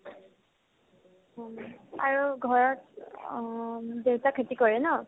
অ, মানে আৰু ঘৰত অ মানে দেউতাই খেতি কৰে ন ?